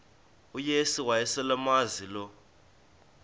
uyesu wayeselemazi lo